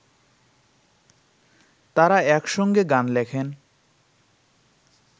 তাঁরা একসঙ্গে গান লেখেন